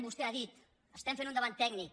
vostè ha dit estem fent un debat tècnic